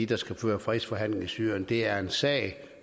der skal føre fredsforhandlinger i syrien det er en sag